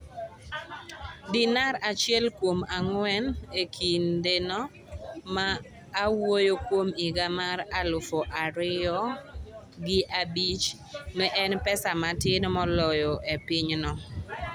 Dinar achiel kuom ang’wen e kindeno, ma awuoyo kuom higa mar alaf ariyogi abich, ne en pesa matin moloyo e pinyno.